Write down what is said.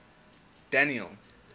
daniel